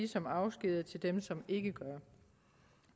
som afskediger til dem som ikke gør